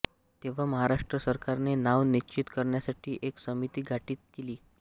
तेव्हा महाराष्ट्र सरकारने नाव निश्चित करण्यासाठी एक समिती गठित केली